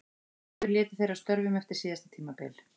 Báðir létu þeir af störfum eftir síðasta tímabil.